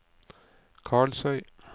Karlsøy